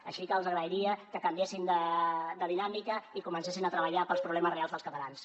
així que els agrairia que canviessin de dinàmica i comencessin a treballar per als problemes reals dels catalans